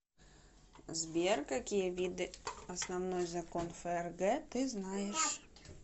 сбер какие виды основной закон фрг ты знаешь